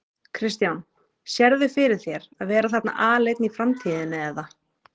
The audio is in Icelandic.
Kristján: Sérðu fyrir þér að vera þarna aleinn í framtíðinni eða?